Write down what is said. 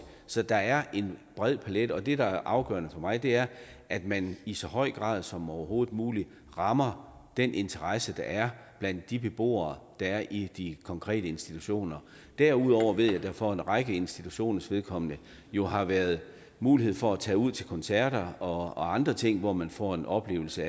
så der er en bred palet det der er afgørende for mig er at man i så høj grad som overhovedet muligt rammer den interesse der er blandt de beboere der er i de konkrete institutioner derudover ved jeg at der for en række institutioners vedkommende jo har været mulighed for at tage ud til koncerter og og andre ting hvor man får en oplevelse